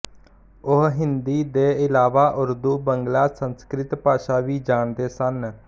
ਉਹ ਹਿੰਦੀ ਦੇ ਇਲਾਵਾ ਉਰਦੂ ਬੰਗਲਾ ਸੰਸਕ੍ਰਿਤ ਭਾਸ਼ਾ ਵੀ ਜਾਣਦੇ ਸਨ